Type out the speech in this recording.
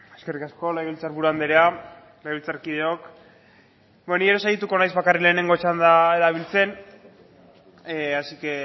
eskerrik asko legebiltzar buru andrea legebiltzarkideok bueno ni ere saiatuko naiz bakarrik lehenengo txanda erabiltzen así que